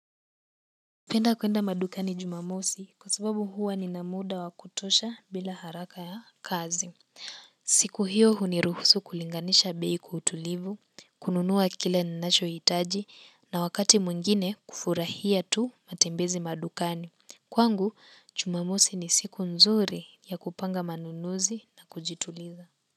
Penda kuenda madukani Jumamosi kwa sababu huwa nina muda wa kutosha bila haraka ya kazi. Siku hio huniruhusu kulinganisha bei kwa utulivu kununua kile ninacho hitaji na wakati mwengine kufurahia tu matembezi madukani kwangu, Jumamosi ni siku nzuri ya kupanga manunuzi na kujituliza.